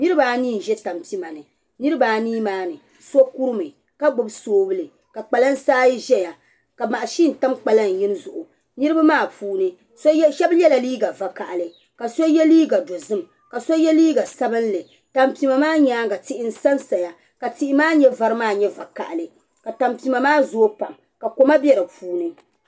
Niraba anii n bɛ tampima ni niraba anii maa mii so kurimi ka gbubi soobuli ka kpalansi ayi ʒɛya ka mashin tam kpalaŋ yinga zuɣu niraba maa puuni shab yɛla liiga vakaɣali ka so yɛ liiga dozim ka so yɛ liiga sabinli tampima maa nyaanga tihi n sansaya ka tihi maa mii vari maa nyɛ vakaɣali ka tampima maa zooi pam ka koma bɛ di puuni